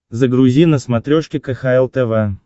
загрузи на смотрешке кхл тв